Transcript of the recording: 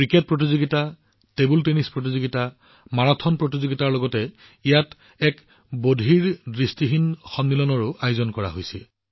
cricket tournament table tennis tournament marathon প্ৰতিযোগিতাৰ লগতে ইয়াত এক বধিৰঅন্ধ সন্মিলনৰো আয়োজন কৰা হৈছিল